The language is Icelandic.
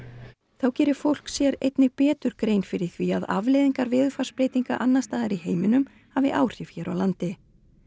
þá geri fólk sér einnig betur grein fyrir því að afleiðingar veðurfarsbreytinga annars staðar í heiminum hafi áhrif hér á landi